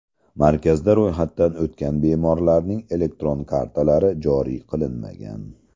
Markazda ro‘yxatdan o‘tgan bemorlarning elektron kartalari joriy qilinmagan.